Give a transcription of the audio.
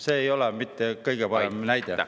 See ei ole mitte kõige parem näide.